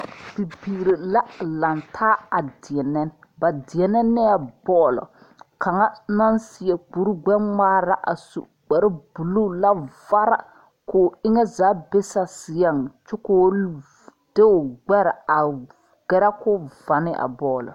Bibiiri la lantaa a deɛnɛ ba deɛnɛ la neɛ bɔl kaŋa naŋ seɛ kuri gbɛ ŋmaara su kpare buluu la vare ko eŋɛ zaa be saseɛŋ ko de o gbɛre a gɛrɛ ko va ne a bɔl.